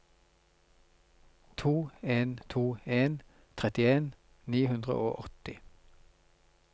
to en to en trettien ni hundre og åtti